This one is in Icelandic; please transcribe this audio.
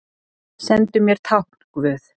Sendu mér tákn guð.